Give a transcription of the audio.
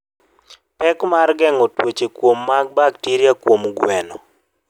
Pek mar geng'o tuoche kuom mag bakteria kuom gwen.